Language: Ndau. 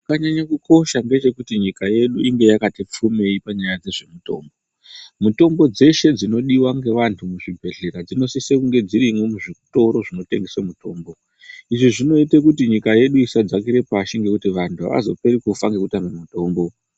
Chakanyanye kukosha ngechekuti nyika yedu inge yakati pfumei panyaya dzezvemutombo. Mitombo dzeshe dzinodiwela ngeantu muzvibhedhlera dzinosise kunge dzirimwo muzvitoro zvinotengesa mutombo izvo zvinoite kuti nyika yedu isadzakira pashi ngekuti anthu azoperi kufa ngekutame mutombo.